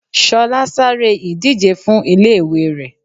Ṣọlá sáré ìdíje fún ilé ìwẹ̀ rẹ̀.